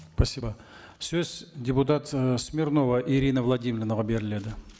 спасибо сөз депутат і смирнова ирина владимировнаға беріледі